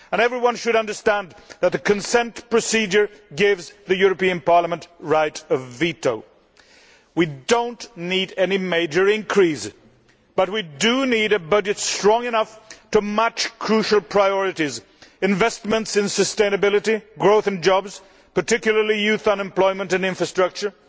Everyone should understand that the consent procedure gives Parliament the right of veto. We do not need any major increase, but we do need a budget strong enough to match crucial priorities, investments in sustainability, growth and jobs, particularly youth unemployment and infrastructure,